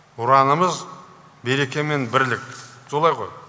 ұранымыз береке мен бірлік солай ғой